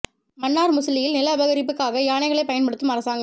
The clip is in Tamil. மன்னார் முசலியில் நில அபகரிப்புக்காக யானைகளைப் பயன்படுத்தும் அரசாங்கம்